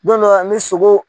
Don dɔw la ni sogo